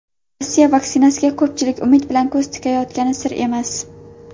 Rossiya vaksinasiga ko‘pchilik umid bilan ko‘z tikayotgani sir emas.